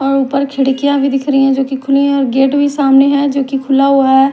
और ऊपर खिड़कियां भी दिख रही है जो कि और गेट भी सामने है जो कि खुला हुआ है।